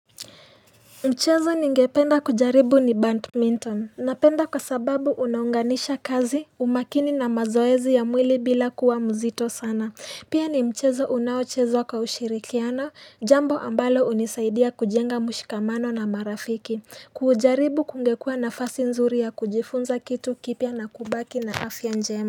Mchezo ningependa kujaribu ni badminton Napenda kwa sababu unaunganisha kazi umakini na mazoezi ya mwili bila kuwa mzito sana Pia ni mchezo unaochezwa kwa ushirikiano jambo ambalo hunisaidia kujenga mshikamano na marafiki Kuujaribu kungekua nafasi nzuri ya kujifunza kitu kipya na kubaki na afya njema.